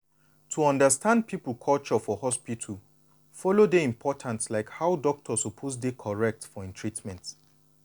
to understand people culture for hospital follow dey important like how doctor suppose dey correct for hin treatment.